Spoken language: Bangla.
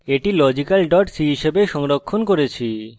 এটি logical c হিসাবে সংরক্ষিত করেছি